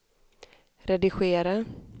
redigera